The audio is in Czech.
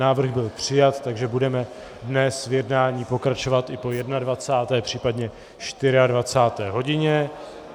Návrh byl přijat, takže budeme dnes v jednání pokračovat i po 21., případně 24. hodině.